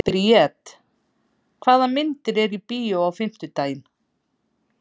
Briet, hvaða myndir eru í bíó á fimmtudaginn?